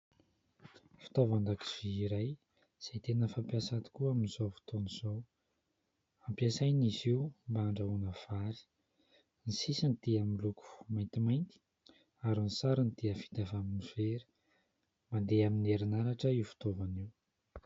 Fitaovan- dakozia iray izay tena fampiasa tokoa amin'izao fotoana izao, ampiasaina izy io mba handrahoana vary. Ny sisiny dia miloko maintimainty ary ny sarony dia vita avy amin'ny vera, mandeha amin'ny herinaratra io fitaovana io.